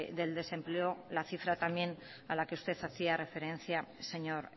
del desempleo la cifra también a la que usted hacía referencia señor